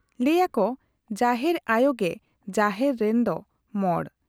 ᱞᱟᱹᱭ ᱟᱠᱚ ᱡᱟᱦᱮᱨ ᱟᱭᱚ ᱜᱮ ᱡᱟᱦᱮᱨ ᱨᱮᱱ ᱫᱚ ᱢᱚᱬ ᱾